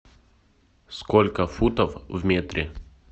сколько футов в метре